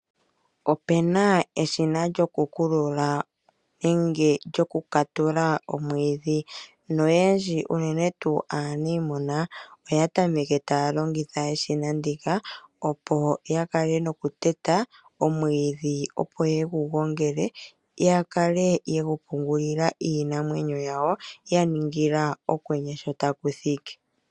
Opena eshina lyokukulula nenge lyokukatula omwiidhi noyendji unene tuu aaniimuna oya tameke taya longitha eshina ndika. Opo ya kale nokuteta omwiidhi opo yegu gongele yakale yegu pungulila iinamwenyo yawo yaningila okwenye sho takuthiki.